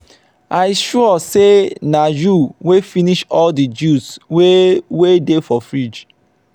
i sure say na you wey finish all the juice wey wey dey for fridge